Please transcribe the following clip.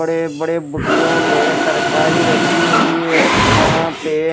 बडे-बडे बूटियों में तरकारी रखी हुई है यहाँ पे --